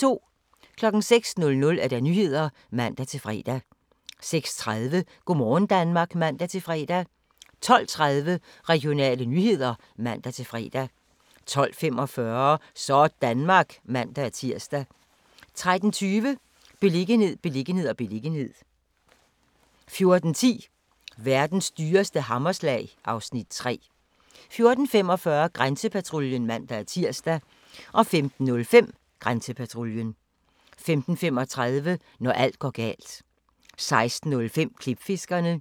06:00: Nyhederne (man-fre) 06:30: Go' morgen Danmark (man-fre) 12:30: Regionale nyheder (man-fre) 12:45: Sådanmark (man-tir) 13:20: Beliggenhed, beliggenhed, beliggenhed 14:10: Verdens dyreste hammerslag (Afs. 3) 14:45: Grænsepatruljen (man-tir) 15:05: Grænsepatruljen 15:35: Når alt går galt 16:05: Klipfiskerne